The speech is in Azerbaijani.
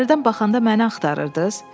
Pəncərədən baxanda məni axtarırdız?